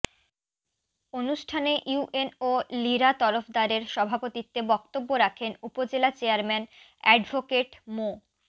অনুষ্ঠানে ইউএনও লীরা তরফদারের সভাপতিত্বে বক্তব্য রাখেন উপজেলা চেয়ারম্যান অ্যাডভোকেট মো